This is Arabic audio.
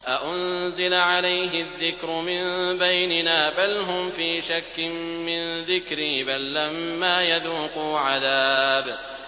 أَأُنزِلَ عَلَيْهِ الذِّكْرُ مِن بَيْنِنَا ۚ بَلْ هُمْ فِي شَكٍّ مِّن ذِكْرِي ۖ بَل لَّمَّا يَذُوقُوا عَذَابِ